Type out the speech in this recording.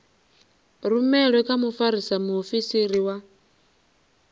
rumelwe kha mfarisa muofisiri wa